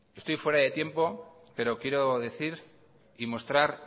estoy fuera de tiempo pero quiero decir y mostrar